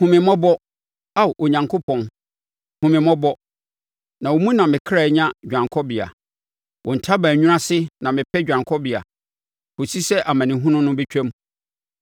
Hu me mmɔbɔ, Ao Onyankopɔn, hunu me mmɔbɔ, na wo mu na me kra nya dwanekɔbea. Wo ntaban nwunu ase na mɛpɛ dwanekɔbea kɔsi sɛ amanehunu no bɛtwam.